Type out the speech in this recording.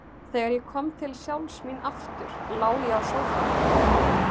Þegar ég kom til sjálfs mín aftur lá ég á sófanum.